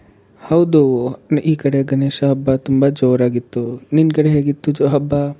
ಹೌದೂ ಈ ಕಡೆ ಗಣೇಶನ್ ಹಬ್ಬ ತುಂಬಾ ಜೋರಾಗಿತ್ತು. ನಿನ್ ಕಡೆ ಹೇಗಿತ್ತು ಹಬ್ಬಾ?